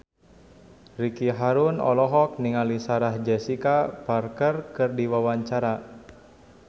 Ricky Harun olohok ningali Sarah Jessica Parker keur diwawancara